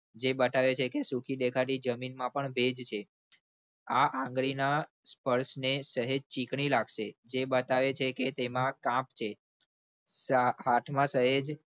જે બતાવે છે કે સુખી દેખાતી જમીનમાં પણ ભેજ છે. આ આંગળીના સ્પર્શને સહેજ ચીકણી લાગશે જે બતાવે છે કે તેમાં કામ છે હાથમાં સહેજ